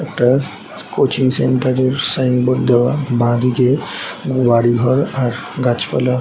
একটা coaching centre এর sign board দেওয়া বা দিকে বাড়ি ঘর আর গাছপালা --